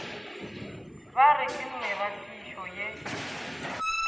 ba re ke meratišo ye